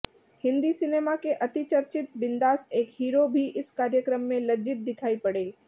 Hindi cinema के अतिचर्चित बिंदास एक हीरो भी इस कार्यक्रम में लज्जित दिखाई पड़े